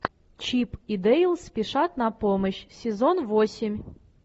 чип и дейл спешат на помощь сезон восемь